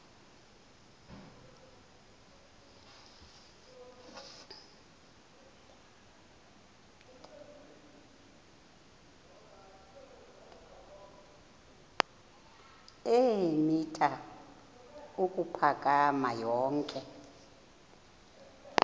eemitha ukuphakama yonke